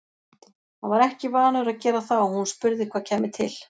Hann var ekki vanur að gera það og hún spurði hvað kæmi til.